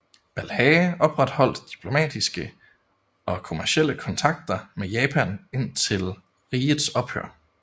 Balhae opretholdt diplomatiske og kommercielle kontakter med Japan indtil rigets ophør